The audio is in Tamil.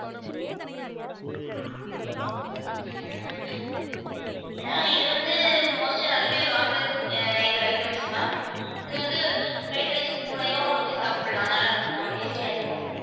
ஏன்னா இது வந்து most ஆ நிறைய பேர் வாங்குற இது items ma'am இது வந்து fried rice கூடயும் வச்சு சாப்பிடலாம். நல்லா இருக்கும் tasty ஆ இருக்கும்.